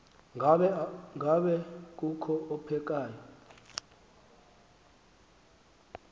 ngaba kukho ophekayo